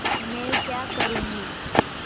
मैं क्या करूँगी